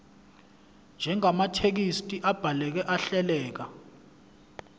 njengamathekisthi abhaleke ahleleka